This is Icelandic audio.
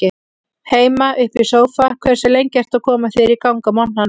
Heima upp í sófa Hversu lengi ertu að koma þér í gang á morgnanna?